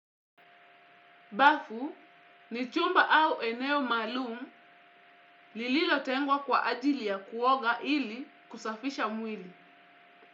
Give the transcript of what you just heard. Bafu, ni chumba au eneo maalum lililotengwa kwa ajili ya kuoga ili kusafisha mwili.